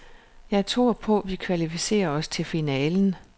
Jeg tror på, vi kvalificerer os til finalen.